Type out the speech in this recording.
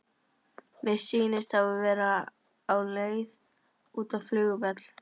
Mér sýnist hann vera á leið út á flugvöll.